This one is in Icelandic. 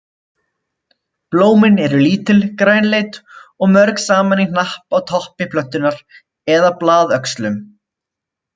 Blómin eru lítil, grænleit og mörg saman í hnapp á toppi plöntunnar eða blaðöxlum.